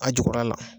A jukɔrɔla la